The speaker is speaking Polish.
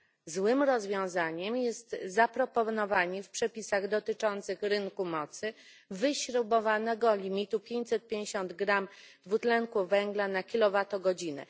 Złym rozwiązaniem jest zaproponowanie w przepisach dotyczących rynku mocy wyśrubowanego limitu 550 g dwutlenku węgla na kilowatogodzinę.